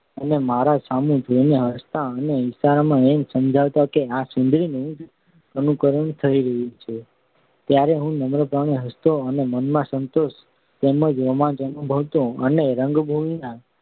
અને મારા સામું જોઈને હસતાં અને ઈશારામાં એમ સમજાવતાં કે આ સુંદરી નું જ અનુકરણ થઈ રહ્યું છે ત્યારે હું નમ્રપણે હસતો અને મનમાં સંતોષ તેમ જ રોમાંચ અનુભવતો અને રંગભૂમિના